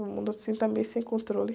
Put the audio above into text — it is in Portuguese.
O mundo, assim, está meio sem controle.